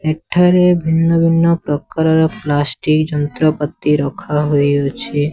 ଏଠାରେ ଭିନ୍ନ ଭିନ୍ନ ପ୍ରକାର ର ପ୍ଲାଷ୍ଟିକ ଯନ୍ତ୍ର ପତି ରଖା ହୋଇଅଛି।